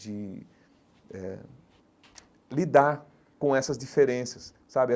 de eh lidar com essas diferenças, sabe?